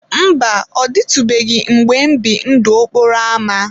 Mba, ọ dịtụbeghị mgbe m bibu ndụ okporo ámá.